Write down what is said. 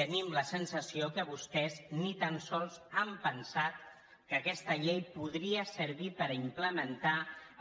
tenim la sensació que vostès ni tan sols han pensat que aquesta llei podria servir per implementar